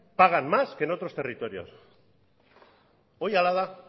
pagan más que en otros territorios hori hala da